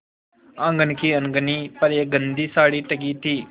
आँगन की अलगनी पर एक गंदी साड़ी टंगी थी